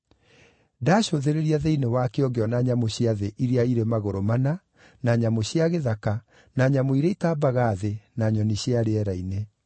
Ndaacũthĩrĩria thĩinĩ wakĩo ngĩona nyamũ cia thĩ iria irĩ magũrũ mana, na nyamũ cia gĩthaka, na nyamũ iria itambaga thĩ na nyoni cia rĩera-inĩ.